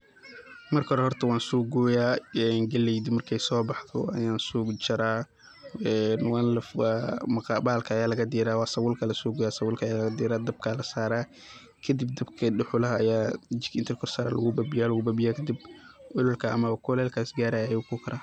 Marka hore horto wan sogoyaa een galeyda markay sobaxda ayan sojaraa een bahalka ayaa lagadiraa waa sabulka aya lasogoyaa sabulka ayaa lagadiraa dabkaa lasaraa, kadib dabka duxulaha aya inti jikaa lakorsaraa aya lagubabiyaa babiyaa kadib ololka ama kulelka isgarayaa ayu kukaraa.